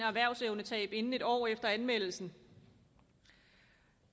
erhvervsevnetab inden en år efter anmeldelsen